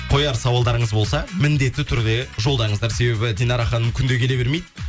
қояр сауалдарыңыз болса міндетті түрде жолдаңыздар себебі динара ханым күнде келе бермейді